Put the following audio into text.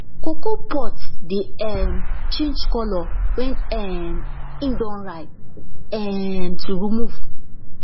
cocoa pods dey um change colour wen um im don ripe um to remove